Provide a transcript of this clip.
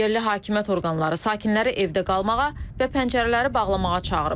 Yerli hakimiyyət orqanları sakinləri evdə qalmağa və pəncərələri bağlamağa çağırıb.